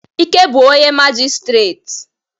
Ike bu onye majistret.